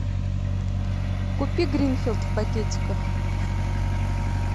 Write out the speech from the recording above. купи гринфилд в пакетиках